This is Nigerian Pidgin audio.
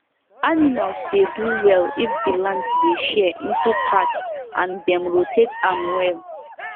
animals dey do well if the land dey share into parts and dem rotate am well